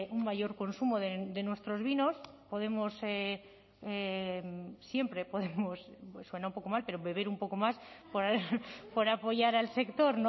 un mayor consumo de nuestros vinos podemos siempre podemos suena un poco mal pero beber un poco más por apoyar al sector